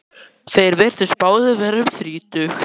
Þeir virtust báðir vera um þrítugt.